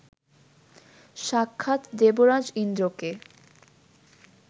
সাক্ষাৎ দেবরাজ ইন্দ্রকে